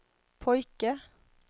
pojke